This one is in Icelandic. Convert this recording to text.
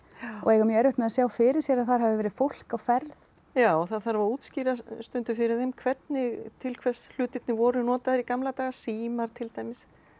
og eiga mjög erfitt með að sjá fyrir sér að þar hafi verið fólk á ferð já það þarf að útskýra stundum fyrir þeim hvernig til hvers hlutirnir voru notaðir í gamla daga símar til dæmis